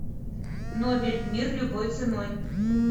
нобель мир любой ценой